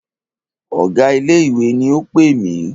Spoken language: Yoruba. Ọ̀gá ilé ìwé ni o pè mí.